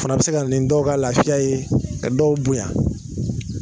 O fana bɛ se ka nin dɔw ka lafiya ye ka dɔw bonya